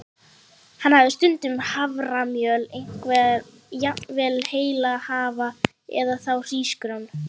Hann hafði stundum haframjöl, jafnvel heila hafra, eða þá hrísgrjón.